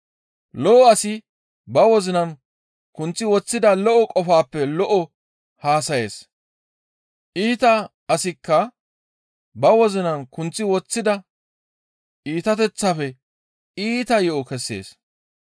«Lo7o asi ba wozinan kunththi woththida lo7o qofaappe lo7o haasayees; iita asikka ba wozinan kunththi woththida iitateththaafe iita yo7o kessees.